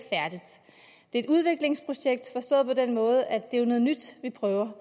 et udviklingsprojekt forstået på den måde at det jo er noget nyt vi prøver